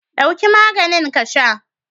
Ɗauki maganin ka sha!